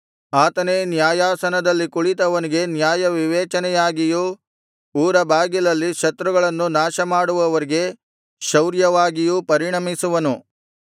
ಆತನೇ ನ್ಯಾಯಾಸನದಲ್ಲಿ ಕುಳಿತವನಿಗೆ ನ್ಯಾಯವಿವೇಚನೆಯಾಗಿಯೂ ಊರಬಾಗಿಲಲ್ಲಿ ಶತ್ರುಗಳನ್ನು ನಾಶಮಾಡುವವರಿಗೆ ಶೌರ್ಯವಾಗಿಯೂ ಪರಿಣಮಿಸುವನು